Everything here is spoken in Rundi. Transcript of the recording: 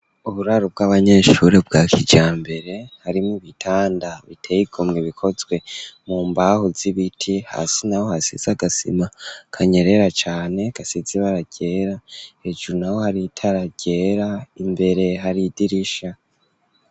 Uburaro, bw'abanyeshure, bwa kijambere, harimwo ibitanda, biteye igomwe, bikozwe mu mbaho, z'ibiti; hasi naho, hasize agasima, kanyerera cane, gasize ibara ryera; hejuru naho, hari itara ryera, imbere, hari idirisha.